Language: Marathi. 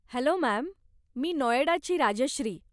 हॅलो मॅम, मी नोएडाची राजश्री.